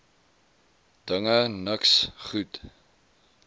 dinge niks goed